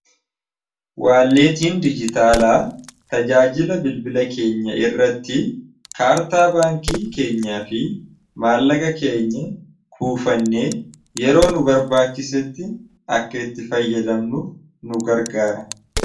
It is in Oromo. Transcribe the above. waalleetiin dijitaalaa tajaajila bilbila keenya irratti kaartaa baankii keenyaa fi maallaga keenya kuufannee yeroo nu barbaachisetti akka itti fayyadamnuuf nu gargaara